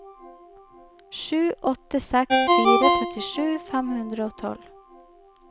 sju åtte seks fire trettisju fem hundre og tolv